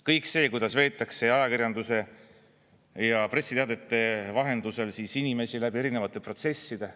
Kõik see, kuidas veetakse ajakirjanduse ja pressiteadete vahendusel inimesi läbi erinevate protsesside.